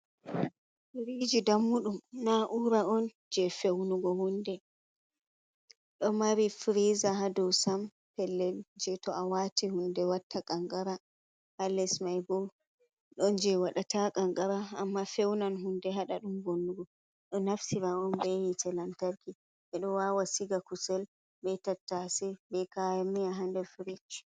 Firiji dammuɗum na ura on je feunugo hunde ɗo mari friza hadosam pellel je to a wati hunde watta qanqara, ha lesmai bo ɗon je waɗata qanqara amma feunan hunde haɗa ɗum vonnugo ɗo naftira on be hitte lantarki ɓeɗo wawa siga kusel, be tattase, be kaya miya ha nder frej.